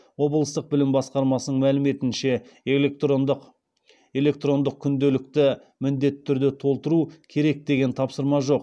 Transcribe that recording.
облыстық білім басқармасының мәліметінше электрондық күнделікті міндетті түрде толтыру керек деген тапсырма жоқ